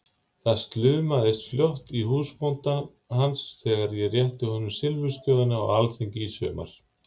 Það slumaði fljótt í húsbónda hans þegar ég rétti honum silfursjóðinn á alþingi í sumar!